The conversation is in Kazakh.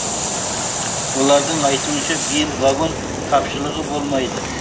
олардың айтуынша биыл вагон тапшылығы болмайды